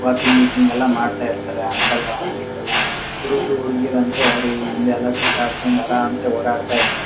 Walking ಗೀಕಿಂಗ್ ಎಲ್ಲ ಮಾಡ್ತಾ ಇರ್ತರೆ ಅಂಕಲ್ ಆಂಟಿಸ್ ಎಲ್ಲ ಹುಡುಗ್ರು ಹುಡಿಗಿರು ಅಂತೂ ಅವ್ರು ಇವ್ರು ಹಿಂದೆ ಎಲ್ಲ ಸುತಾಡ್ಕೊಂಡು ಅರಾಮ್ಸ್ಸೇ ಓಡಾಡತಾ ಇರ್ತ--.